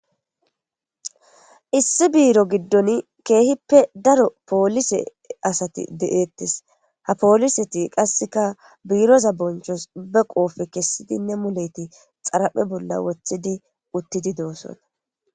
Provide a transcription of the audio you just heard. issi biiro giddon keehippe daro poolise asati deeettes ha pooliseti qasseka biiroza bonchos be qoofe kessidinne muleti xaraphe bolla wothidi uttidi doosona